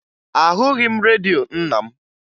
Ahụghị m redio nna m